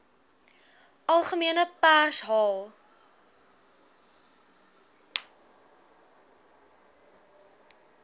algemene pers haal